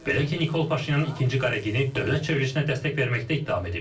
Belə ki, Nikol Paşinyan ikinci Qaregini dövlət çevrilişinə dəstək verməkdə ittiham edib.